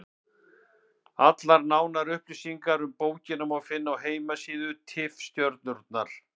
Allar nánari upplýsingar um bókina má finna á heimasíðu Tifstjörnunnar.